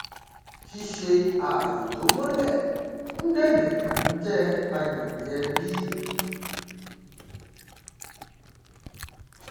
òun ni alága ìgbìmọ alábẹsẹkẹlé ilé asòfin náà lórí ọrọ tó jẹ mọ ètò ìjọba ìbílẹ lẹkọọ